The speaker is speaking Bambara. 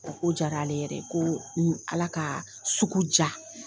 Ko diyara ale yɛrɛ ye, ko ala ka sugu ja.